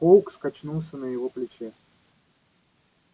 фоукс качнулся на его плече